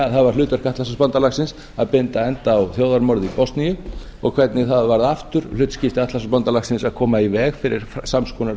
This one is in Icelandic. að það var hlutverk atlantshafsbandalagsins að binda enda á þjóðarmorðin í bosníu og hvernig það var aftur hlutskipti atlantshafsbandalagsins að koma í veg fyrir sams konar